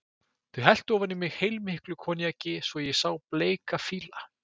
Þau helltu ofan í mig heilmiklu koníaki svo að ég sá bleika fíla.